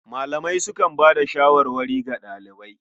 Malamai sukan bayar da shawarwari ga ɗalibai.